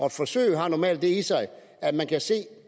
et forsøg har normalt det i sig at man kan se